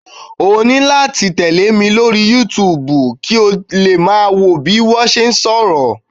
O nílò láti tẹle mi lórí YouTube kí o lè máa wo bí mo ṣe ń sọ̀rọ̀.